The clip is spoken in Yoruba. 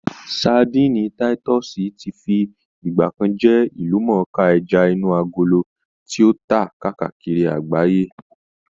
Sadíìnì táítọ́ọ̀sì ti fi ìgbà kan jẹ́ ìlúmọ̀ọ́ká ẹja inú agolo tí ó tà káàkiri àgbáyé